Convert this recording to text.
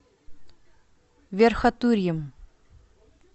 верхотурьем